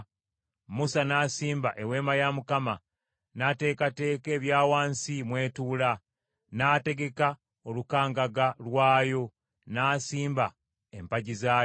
Musa n’asimba Eweema ya Mukama ; n’ateekateeka ebya wansi mw’etuula, n’ategeka olukangaga lwayo, n’asimba empagi zaayo;